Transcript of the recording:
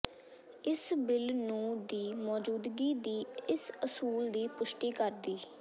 ਇਸ ਬਿੱਲ ਨੂੰ ਦੀ ਮੌਜੂਦਗੀ ਦੀ ਇਸ ਅਸੂਲ ਦੀ ਪੁਸ਼ਟੀ ਕਰਦੀ